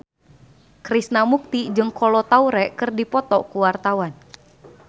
Krishna Mukti jeung Kolo Taure keur dipoto ku wartawan